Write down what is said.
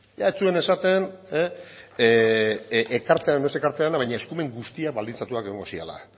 ia ez zuen esaten ekartzean edo ez ekartzean baina eskumen guztiak baldintzatuak egongo zirela